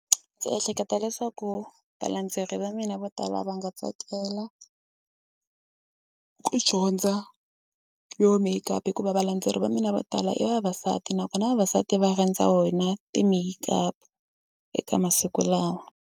Ndzi ehleketa leswaku valandzeleri va mina vo tala va nga tsakela ku dyondza yo make-up hikuva valandzeleri va mina vo tala i vavasati nakona vavasati va rhandza wena ti-make-up eka masiku lawa.